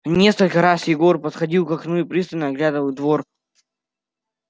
несколько раз егор подходил к окну и пристально оглядывал двор